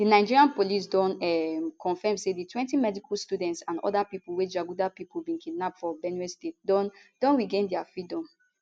di nigeria police don um confam say di twenty medical students and oda pipo wey jaguda pipo bin kidnap for benue state don don regain dia freedom